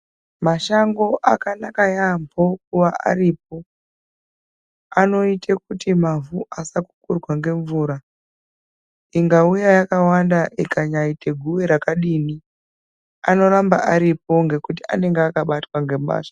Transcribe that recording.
Mashango akanaka yaambo aripo. Anoite kuti mavhu asakukurwa ngemvura. Ikauya yakawanda ikanyaite guwe rakadini anondoramba aripo ngekuti anenge akabatwa ngemashango.